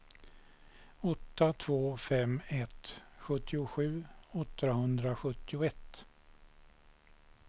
åtta två fem ett sjuttiosju åttahundrasjuttioett